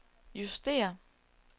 justér